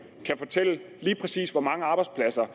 kan fortælle lige præcis hvor mange arbejdspladser